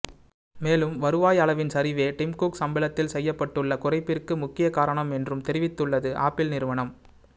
மேலும் வருவாய் அளவின் சரிவே டிம் குக் சம்பளத்தில் செய்யப்பட்டுள்ள குறைப்பிற்கு முக்கியக் காரணம் என்றும் தெரிவித்துள்ளது ஆப்பிள் நிறுவனம்